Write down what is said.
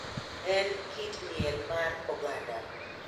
En kit miel mar oganda.